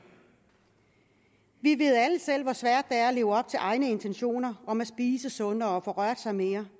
vi ved alle selv hvor svært det er at leve op til egne intentioner om at spise sundere og få rørt sig mere